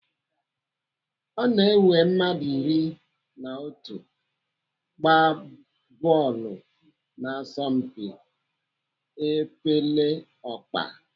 Ọ na-ewe mmadụ iri na otu ịgba bọọlụ n'asompi epeleọkpa.